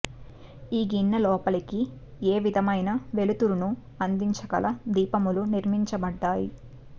ఈ గిన్నె లోపలికి ఏ విధమైన వెలుతురును అందించగల దీపములు నిర్మించబడ్డాయి